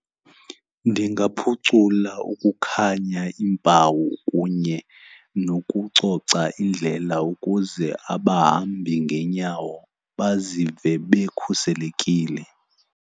Ndingaphucula ukukhanya, iimpawu kunye nokucoca indlela ukuze abahambi ngenyawo bazive bekhuselekile.